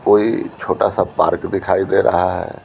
कोई छोटा सा पार्क दिखाई दे रहा है।